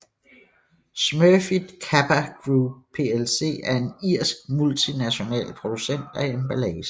Smurfit Kappa Group plc er en irsk multinational producent af emballage